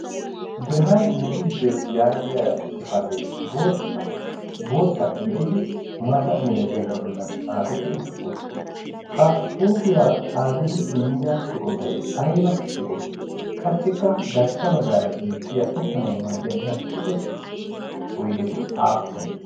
brhani migidbeet yaagiya xifatee bootta gididi maata milaxiyaagaa bollan xaafettidi utti ha xuufiyaa xaafidi immida eqotay ayba eqotee qassikka garssa ba gaara beettiya uttanawu maaddiyaa lasttiqe oydeti aappune?